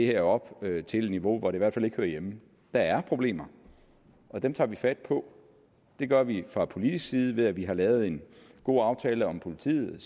her op til et niveau hvor det i hvert fald ikke hører hjemme der er problemer og dem tager vi fat på det gør vi fra politisk side ved at vi har lavet en god aftale om politiet